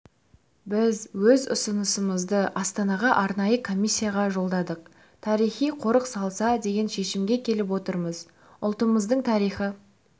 біз өз ұсынысымызды астанаға арнайы комиссияға жолдадық тарихи қорық салса деген шешімге келіп отырмыз ұлтымыздың тарихы